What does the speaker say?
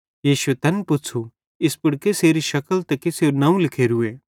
यीशुए तैन पुच़्छ़ू इस पुड़ कसेरी शकल ते कसेरू नवं लिखोरूए